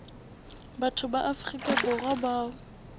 batho ba afrika borwa bao